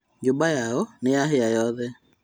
Nyũmba yao nĩyahĩa yothe